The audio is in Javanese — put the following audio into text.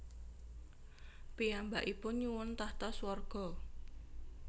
Piyambakipun nyuwun tahta swarga